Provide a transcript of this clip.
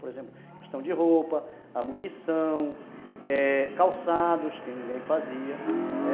Por exemplo, questão de roupa, a munição, calçados que ninguém fazia.